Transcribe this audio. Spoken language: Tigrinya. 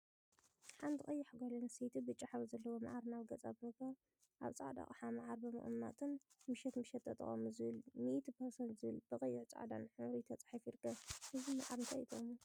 ሓንቲ ቀያሕ ጓል አንስተይቲ ብጫ ሕብሪ ዘለዎ መዓር ናብ ገፃ ብምግባር አብ ፃዕዳ አቅሓ መዓር ብምቅማጥን ምሸት ምሸት ተጠቀሙ ዝብልን ሚኢቲ ፐርሰንት ዝብልን ብቀይሕን ፃዕዳን ሕብሪ ተፃሒፉ ይርከብ፡፡ እዚ መዓር እንታይ እዩ ጥቅሙ?